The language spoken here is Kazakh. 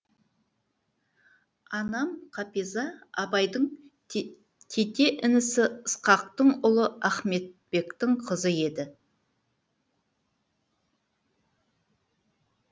анам қапиза абайдың тете інісі ысқақтың ұлы ахметбектің қызы еді